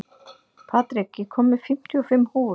Patrik, ég kom með fimmtíu og fimm húfur!